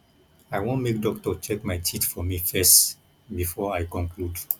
i wan make doctor check my teeth for me first before i conclude